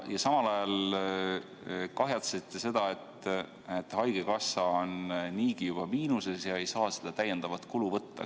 Ja samal ajal kahjatsete seda, et haigekassa on niigi juba miinuses ega saa seda täiendavat kulu võtta.